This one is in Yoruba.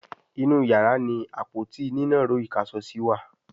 inú iyàrá ní Àpótí nínàró ìkáṣọsí wá.